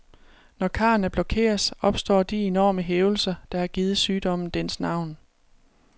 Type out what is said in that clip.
Når karrene blokeres, opstår de enorme hævelser, der har givet sygdommen dens navn.